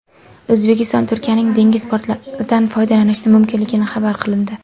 O‘zbekiston Turkiyaning dengiz portlaridan foydalanishi mumkinligi xabar qilindi.